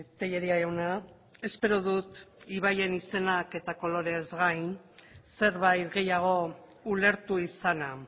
telleria jauna espero dut ibaien izenak eta koloreez gain zerbait gehiago ulertu izana